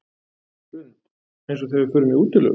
Hrund: Eins og þegar við förum í útilegu?